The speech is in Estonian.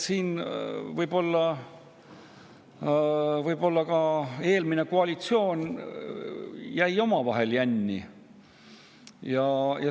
Siin jäi võib-olla ka eelmine koalitsioon omavahel jänni.